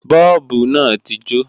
Bọ́ọ̀bù náà ti jó